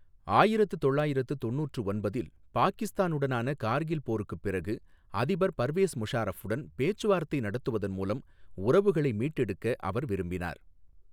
ஆயிரத்து தொள்ளாயிரத்து தொண்ணுற்று ஒன்பதில் பாகிஸ்தானுடனான கார்கில் போருக்குப் பிறகு, அதிபர் பர்வேஸ் முஷாரஃபுடன் பேச்சுவார்த்தை நடத்துவதன் மூலம் உறவுகளை மீட்டெடுக்க அவர் விரும்பினார்.